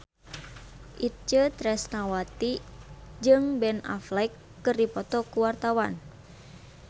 Itje Tresnawati jeung Ben Affleck keur dipoto ku wartawan